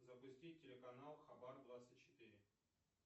запустить телеканал хабар двадцать четыре